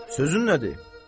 Sözün nədir?